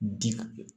Bi